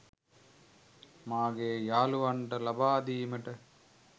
මාගේ යහලුවන්ට ලබාදීමට